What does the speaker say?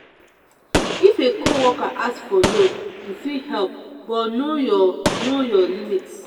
if a co-worker ask for loan you fit help but know your know your limits.